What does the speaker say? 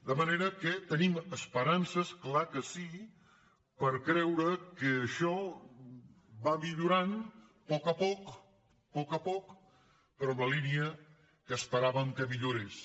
de manera que tenim esperances clar que sí per creure que això va millo·rant a poc a poc a poc a poc però en la línia que esperàvem que millorés